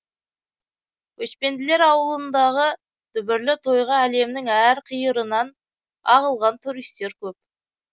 көшпенділер ауылындығы дүбірлі тойға әлемнің әр қиырынан ағылған туристер көп